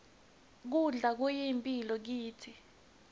kudla kuyimphilo kitsi